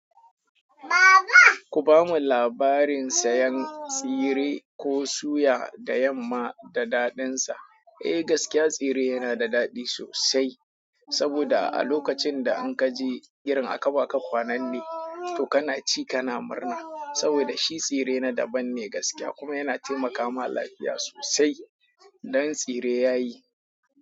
Ku ba mu labarin sayan tsire ko suya da yamma da daɗinsa. Eh gaskiya tsire yana da daɗi sosai. Saboda a lokacin da an ka je irin akaɓa ka kwananne, to kana ci kana murna. Saboda shi tsire na daban ne gaskiya kuma yana taimaka ma lafiya sosai. Dan tsire ya yi.